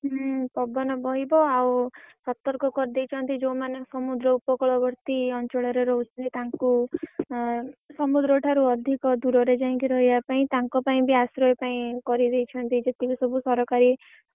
ହୁଁ ପବନ ବହିବ୍ ଆଉ ସର୍ତକ କରିଦେଇଛନ୍ତି ଯୋଉମାନେ ସମୁଦ୍ର ଉପକୂଳବର୍ତ୍ତୀ ଅଞ୍ଚଳରେ ରହୁ ଥିବେ ତାଙ୍କୁ ଅ ସମୁଦ୍ର ଠାରୁ ଅଧିକ ଦୁର ରେ ଯାଇକି ରହିଆ ପାଇଁ ତାଙ୍କ ପାଇଁ ବି ଆଶ୍ରୟ ପାଇଁ କରିଦେଇଛନ୍ତି ଯେତକ ସବୁ ସରକାରୀ